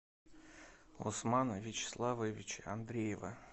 усмана вячеславовича андреева